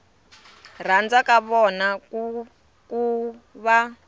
rhandza ka vona ku va